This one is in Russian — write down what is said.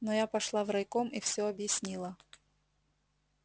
но я пошла в райком и всё объяснила